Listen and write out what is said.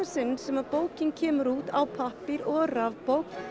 sinn sem bókin kemur út á pappír og rafbók